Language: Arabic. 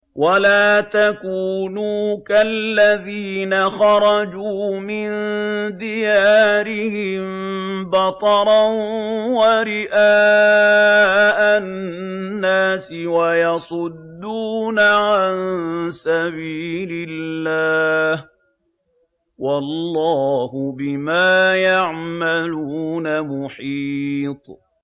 وَلَا تَكُونُوا كَالَّذِينَ خَرَجُوا مِن دِيَارِهِم بَطَرًا وَرِئَاءَ النَّاسِ وَيَصُدُّونَ عَن سَبِيلِ اللَّهِ ۚ وَاللَّهُ بِمَا يَعْمَلُونَ مُحِيطٌ